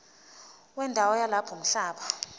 wendawo yalapho umhlaba